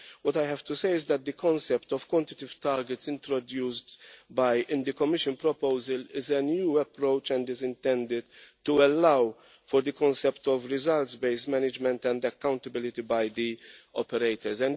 What I have to say is that the concept of quantitative targets introduced in the Commission proposal is a new approach and is intended to allow for the concept of results based management and accountability by the operators.